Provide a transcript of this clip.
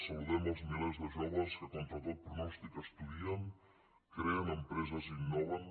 saludem els milers de joves que contra tot pronòstic estudien creen empreses i innoven